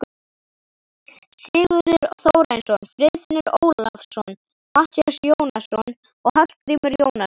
Sigurður Þórarinsson, Friðfinnur Ólafsson, Matthías Jónasson og Hallgrímur Jónasson.